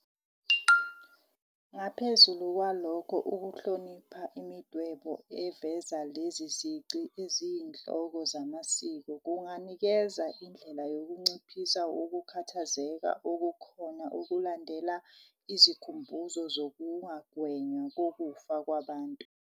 Ngaphezu kwalokho, ukuhlonipha imidwebo eveza lezi zici eziyinhloko zamasiko kunganikeza indlela yokunciphisa ukukhathazeka okukhona okulandela izikhumbuzo zokungagwenywa kokufa kwabantu.